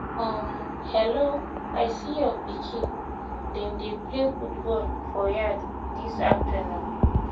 um hello! i see your um pikin dem dey play football for yard this afternoon